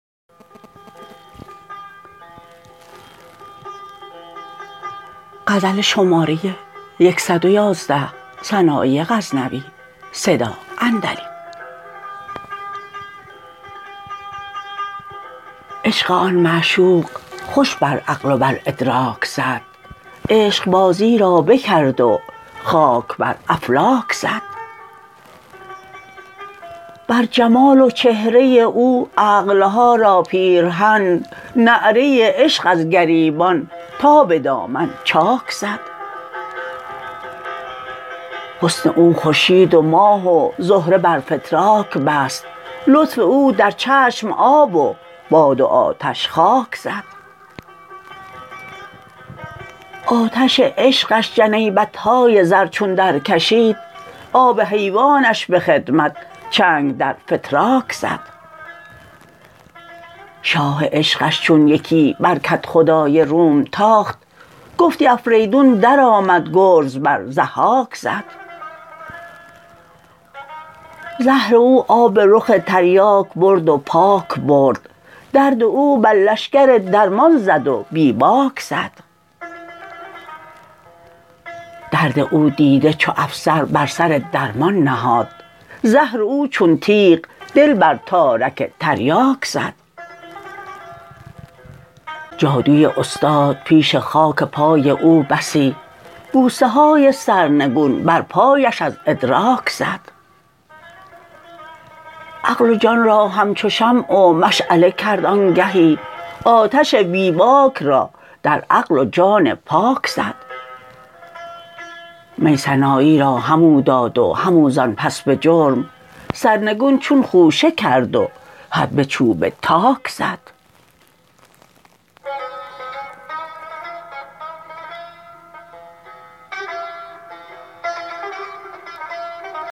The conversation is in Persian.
عشق آن معشوق خوش بر عقل و بر ادراک زد عشق بازی را بکرد و خاک بر افلاک زد بر جمال و چهره او عقل ها را پیرهن نعره عشق از گریبان تا به دامن چاک زد حسن او خورشید و ماه و زهره بر فتراک بست لطف او در چشم آب و باد و آتش خاک زد آتش عشقش جنیبت های زر چون در کشید آب حیوانش به خدمت چنگ در فتراک زد شاه عشقش چون یکی بر کدخدای روم تاخت گفتی افریدون در آمد گرز بر ضحاک زد زهر او آب رخ تریاک برد و پاک برد درد او بر لشکر درمان زد و بی باک زد درد او دیده چو افسر بر سر درمان نهاد زهر او چون تیغ دل بر تارک تریاک زد جادوی استاد پیش خاک پای او بسی بوسه های سرنگون بر پایش از ادراک زد عقل و جان را همچو شمع و مشعله کرد آنگهی آتش بی باک را در عقل و جان پاک زد می سنایی را همو داد و همو زان پس به جرم سرنگون چون خوشه کرد و حدبه چوب تاک زد